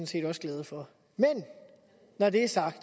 set også glade for men når det er sagt